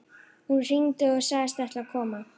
Hún hringdi og sagðist ætla að koma.